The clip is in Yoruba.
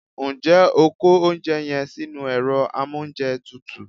Njé o kó oúnjẹ yen sínú èro amóúnjetutù